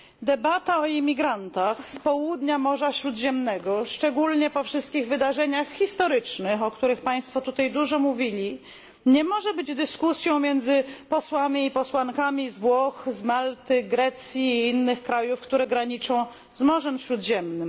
Debata o imigrantach z południa Morza Śródziemnego, szczególnie po wszystkich wydarzeniach historycznych, o których państwo tutaj dużo mówili, nie może być dyskusją między posłami i posłankami z Włoch, Malty, Grecji i innych państw, które graniczą z Morzem Śródziemnym.